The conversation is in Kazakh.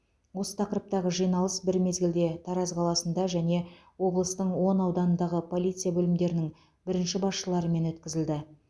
осы тақырыптағы жиналыс бір мезгілде тараз қаласында және облыстың он ауданындағы полиция бөлімдерінің бірінші басшыларымен өткізілді